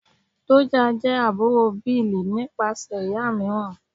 Doja jẹ́ àbúrò Bill nípasẹ̀ ìyá mìíràn.